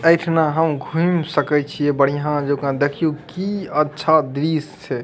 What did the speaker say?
अएठना हम घूम सकइ छिए बढ़िया जका देखीयउ की अछा दृष्य छै।